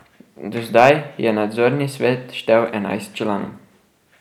Do zdaj je nadzorni svet štel enajst članov.